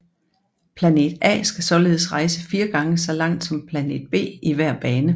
Planet A skal således rejse fire gange så langt som planet B i hver bane